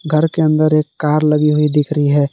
घर के अंदर एक कार लगी हुई दिख रही है।